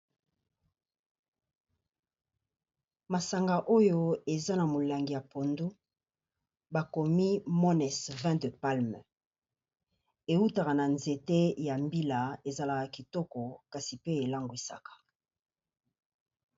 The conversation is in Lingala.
Masanga oyo eza na molangi ya pondu, bakomi Moness vin de palme. Ewutaka na nzete ya mbila, ezalaka kitoko kasi pe elangwisaka.